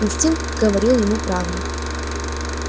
инстинкт говорил ему правду